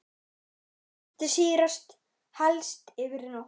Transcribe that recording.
Látið sýrast helst yfir nótt.